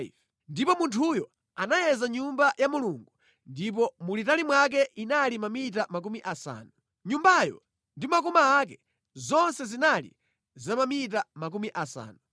Ndipo munthuyo anayeza Nyumba ya Mulungu ndipo mulitali mwake inali mamita makumi asanu. Nyumbayo ndi makoma ake, zonse zinali za mamita makumi asanu.